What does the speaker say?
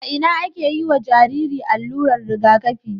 a Ina ake yiwa Jariri allurar Riga kafi